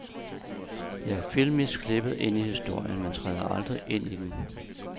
De er filmisk klippet ind i historien, men træder aldrig ind i den.